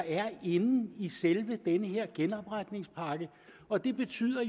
inden i selve den her genopretningspakke og det betyder